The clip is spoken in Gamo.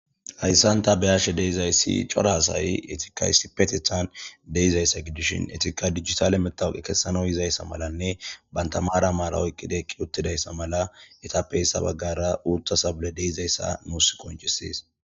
Hayssan ta be'ashe de'izayssi cora asay eetika isipetethan de'izayssa gidishin eetika dijitale matawoqiya keesanaw yizayssa malanne banta maara maara oyqidi eqqi uttidayssa mala eetappe hessa bagaara uutha sabley de'izayssa nuus qoncises.